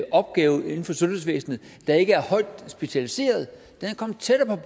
opgaver inden for sundhedsvæsenet der ikke er højt specialiserede er kommet tættere